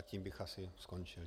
A tím bych asi skončil.